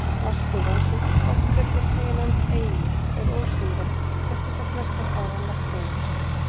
Vatnsgufan, sem oft er einnig nefnd eimur, er ósýnileg, rétt eins og flestar aðrar lofttegundir.